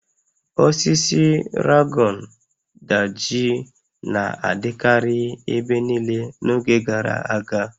Osisi Ragon Daji na-adịkarị ebe niile n'oge gara aga